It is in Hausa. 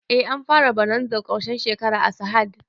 Eh an fara bonazar ƙarshen shekara a sahad